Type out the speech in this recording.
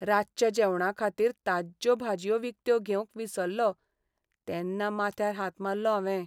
रातच्या जेवणाखातीर ताज्ज्यो भाजयो विकत्यो घेवंक विसरलों तेन्ना माथ्यार हात मारलो हांवें.